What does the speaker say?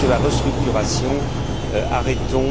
D'abord, sur la restructuration, arrêtons.